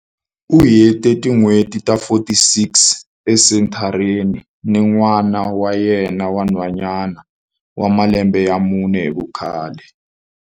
U hete tin'hweti ta 46 esenthareni ni n'wana wa yena wa nhwanyana wa malembe ya mune hi vukhale.